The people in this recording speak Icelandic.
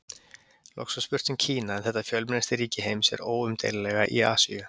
Loks var spurt um Kína en þetta fjölmennasta ríki heims er óumdeilanlega í Asíu.